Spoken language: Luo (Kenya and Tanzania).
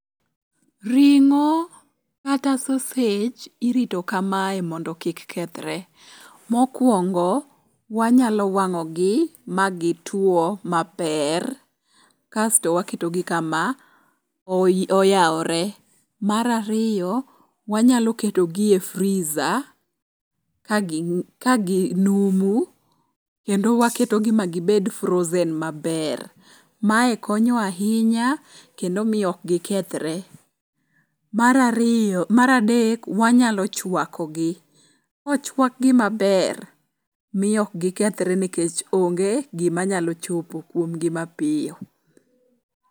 Ring'o kata sausage irito kamae mondo kik kethre. Mokwongo, wanyalo wang'ogi magitwo maber kasto waketogi kama oyawore. Mar ariyo wanyalo ketogi e freezer kaginumu kendo waketogi magibed ma frozen maber. Mae konyo ahinya kendo miyo ok gikethre. mar ariyo mar adek, wanyalo chwakogi. Kochwakgi maber miyo ok gikethre nikech onge gimanyalo chopo kuomgi mapiyo.